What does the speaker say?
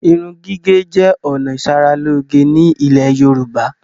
Irun gígẹ̀ jẹ ọ̀nà ìsaráloge ni ilẹ̀ Yorùbá.